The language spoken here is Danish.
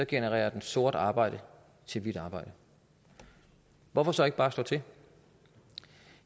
genererer den sort arbejde til hvidt arbejde hvorfor så ikke bare slå til